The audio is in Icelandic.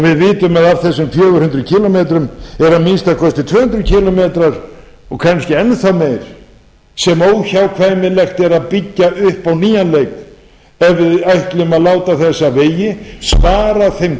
af þessum fjögur hundruð kílómetrar eru amnk tvö hundruð kílómetra og kannski enn þá meira sem óhjákvæmilegt er að byggja upp á nýjan leik ef við ætlum að láta þessa vegi svara þeim